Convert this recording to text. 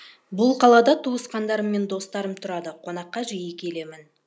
бұл қалада туысқандарым мен достарым тұрады қонаққа жиі келемін